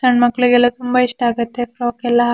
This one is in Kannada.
ಸನ್ ಮಕ್ಕಳಿಗೆಲ್ಲ ತುಂಬಾ ಇಷ್ಟ ಆಗುತ್ತೆ ಫ್ರೊಕ್ ಎಲ್ಲ ಹಾಕ್--